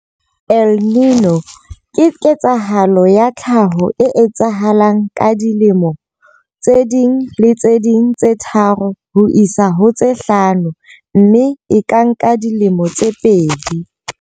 El Niño ke ketsahalo ya tlhaho e etsahalang ka dilemo tse ding le tse ding tse tharo ho isa ho tse hlano mme e ka nka dilemo tse pedi.